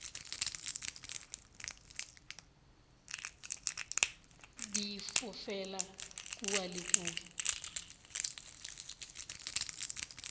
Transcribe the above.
di fofela kua le kua